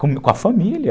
Com a família.